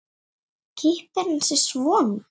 Klippir hann sig svona.